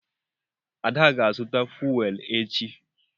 Ada ga-azụta fuwel echi.